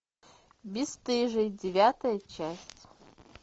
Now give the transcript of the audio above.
бесстыжие девятая часть